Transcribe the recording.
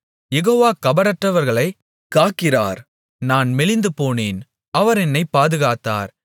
யெகோவா கபடற்றவர்களைக் காக்கிறார் நான் மெலிந்துபோனேன் அவர் என்னைப் பாதுகாத்தார்